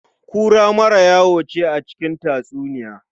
Kura mara wayo ce a cikin tatsuniya.